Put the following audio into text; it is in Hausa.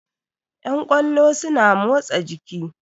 Yan ƙwallo suna motsa jiki